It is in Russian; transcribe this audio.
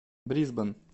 брисбен